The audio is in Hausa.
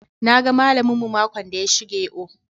"Na ga mallam mu makon da ya shige o."